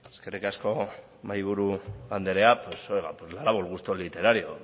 eskerrik asko mahaiburu andrea pues oiga le ha dado gusto literario